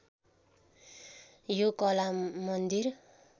यो कला मन्दिर